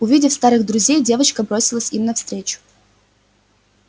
увидев старых друзей девочка бросилась им навстречу